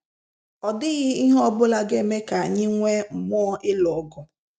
Ọ dịghị ihe ọ bụla ga eme ka anyị nwee mmụọ ịlụ ọgụ.